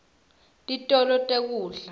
titolo tekudla